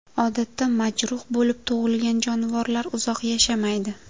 Odatda majruh bo‘lib tug‘ilgan jonivorlar uzoq yashamaydi.